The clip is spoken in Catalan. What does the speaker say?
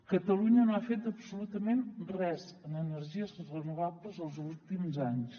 catalunya no ha fet absolutament res en energies renovables els últims anys